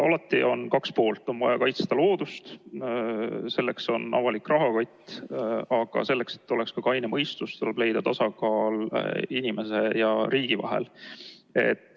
Alati on kaks poolt: on vaja kaitsta loodust, selleks on avalik rahakott, aga selleks, et kehtiks ka kaine mõistus, tuleb leida tasakaal inimese ja riigi vahel.